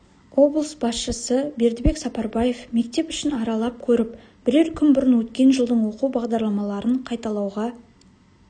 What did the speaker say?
облыс басшысы бердібек сапарбаев мектеп ішін аралап көріп бірер күн бұрын өткен жылдың оқу бағдарламаларын қайталауға